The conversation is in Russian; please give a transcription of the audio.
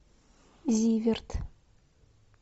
зиверт